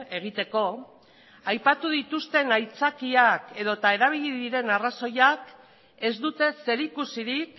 egiteko aipatu dituzten aitzakiak edota erabili diren arrazoiak ez dute zerikusirik